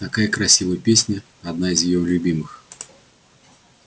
такая красивая песня одна из её любимых